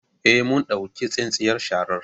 Eh, mun ɗauki tsintsiyar sharar